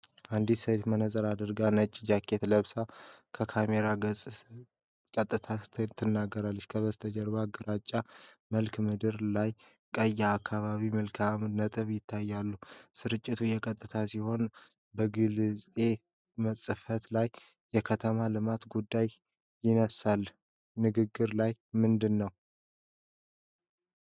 አንዲት ሴት መነጽር አድርጋ ነጭ ጃኬት ለብሳ ከካሜራው ጋር ቀጥታ ትናገራለች። ከበስተጀርባ በግራጫ መልክዓ ምድር ላይ ቀይ የአካባቢ ምልክት ነጥቦች ይታያሉ። ስርጭቱ የቀጥታ ሲሆን በግርጌ ጽሑፍ ላይ የከተማ ልማት ጉዳይ ይነሳል፤ ንግግሯ ስለ ምንድን ነው?